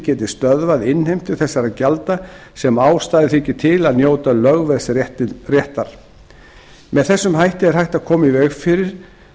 geti stöðvað innheimtu þessara gjalda sem ástæða þykir til að njóti lögveðsréttar með þessum hætti er hægt að koma í veg fyrir